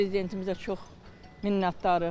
Prezidentimizə çox minnətdarıq.